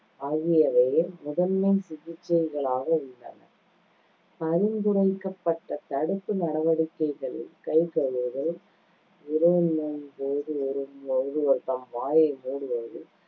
ஆகியவையே முதன்மை சிகிச்சைகளாக உள்ளன பரிந்துரைக்கப்பட்ட தடுப்பு நடவடிக்கைகளில் கை கழுவுதல், இருமும்போது ஒரு~ தம் வாயை மூடுவது,